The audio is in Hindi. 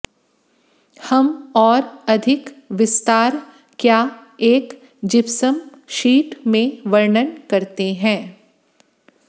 हम और अधिक विस्तार क्या एक जिप्सम शीट में वर्णन करते हैं